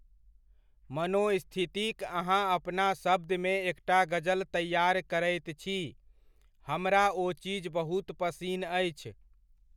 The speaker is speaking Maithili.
मनोस्थितिक अहाँ अपना शब्दमे एकटा गज़ल तैआर करैत छी, हमरा ओ चीज बहुत पसिन अछि।